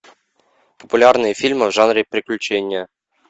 популярные фильмы в жанре приключения